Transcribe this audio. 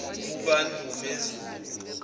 kukandumezulu